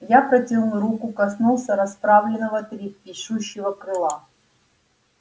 я протянул руку коснулся расправленного трепещущего крыла